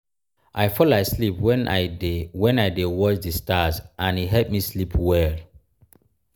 i fall asleep wen i dey wen i dey watch di stars and e help me sleep well.